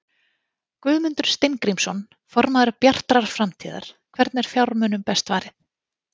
Guðmundur Steingrímsson, formaður Bjartrar framtíðar: Hvernig er fjármunum best varið?